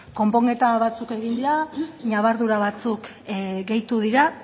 konponketa batzuk egin dira ñabardura batzuk gehitu dira